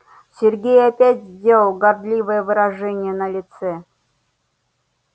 сергей опять сделал гордливое выражение на лице